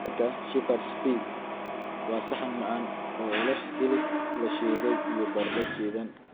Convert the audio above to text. Keega Shepherd's pie waa saxan macaan oo leh hilib la shiiday iyo baradho shiidan.